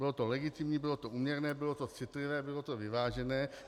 Bylo to legitimní, bylo to úměrné, bylo to citlivé, bylo to vyvážené.